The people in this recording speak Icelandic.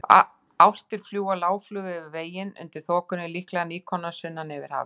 Álftir fljúga lágflug yfir veginn undir þokunni, líklega nýkomnar sunnan yfir hafið.